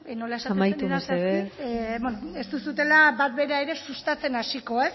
nola esaten zenidan zehazki amaitu mesedez bueno ez duzuela bat bera ere sustatzen hasiko